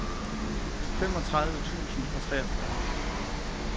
femogtredive tusind og treogfyrre